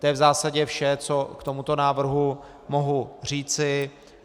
To je v zásadě vše, co k tomuto návrhu mohu říci.